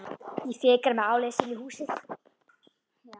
Ég fikra mig áleiðis inn í húsið.